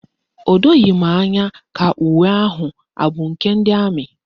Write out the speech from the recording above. O doghi m anya ka uwe ahụ abụ nke ndị amị